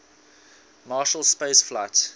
marshall space flight